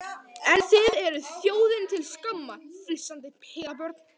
En þið þið eruð þjóðinni til skammar, flissandi pelabörn.